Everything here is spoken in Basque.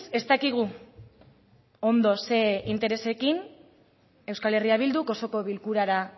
ez dakigu ondo zein interesekin euskal herria bilduk osoko bilkurara